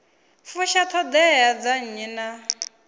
fusha ṱhoḓea dza nnyi na